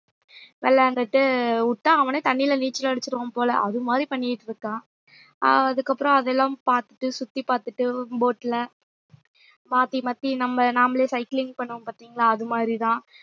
விளையாண்டுட்டு விட்டா அவனே தண்ணியில நீச்சல் அடிச்சிடுவான் போல அது மாதிரி பண்ணிட்டு இருக்கான் ஆஹ் அதுக்கப்புறம் அதெல்லாம் பார்த்துட்டு சுத்தி பார்த்துட்டு boat ல மாத்தி மாத்தி நம்ம நாமளே cycling பண்ணுவோம் பாத்தீங்களா அது மாதிரிதான்